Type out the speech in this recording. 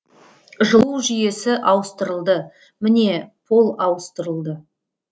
жылу жүйесі ауыстырылды міне пол ауыстырылды